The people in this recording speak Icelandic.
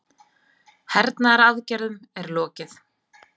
Hernaðaraðgerðum er lokið